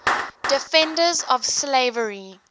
defenders of slavery